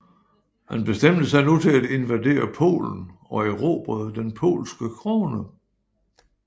Han bestemte sig nu til at invadere Polen og erobrede den polske krone